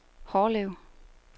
Hårlev